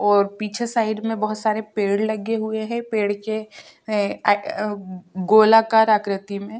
ओर पीछे साईड में बहोत सारे पेड़ लगे हुए हैं पेड़ के अ-ए-अ गोलाकर आकृति में।